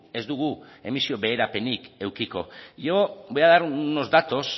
ez dugu emisio beherapenik edukiko yo voy a dar unos datos